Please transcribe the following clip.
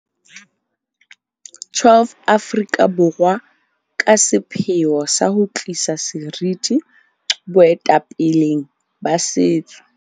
12 Aforika Borwa ka sepheo sa ho tlisa seriti boetapeleng ba setso.